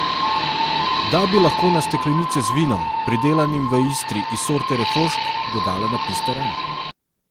Da bi lahko na steklenice z vinom, pridelanim v Istri iz sorte refošk, dodala napis teran.